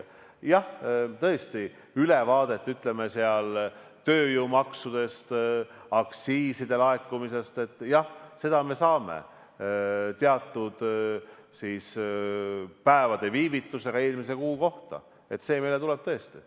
Jah, tõesti, ülevaate tööjõumaksudest, aktsiiside laekumisest me saame viivitusega teatud päevade võrra eelmise kuu kohta, nii see meile tuleb tõesti.